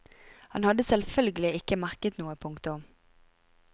Han hadde selvfølgelig ikke merket noe. punktum